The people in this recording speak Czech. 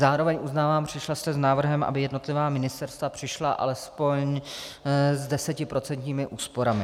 Zároveň uznávám, přišla jste s návrhem, aby jednotlivá ministerstva přišla alespoň s desetiprocentními úsporami.